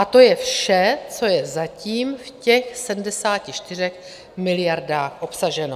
A to je vše, co je zatím v těch 74 miliardách obsaženo.